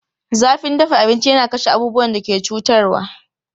Zafin dafa abinci yana kashe abubuwan da ke cutarwa.